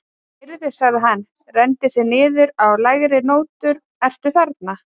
Heyrðu, sagði hann og renndi sér niður á lægri nótur, ertu þarna?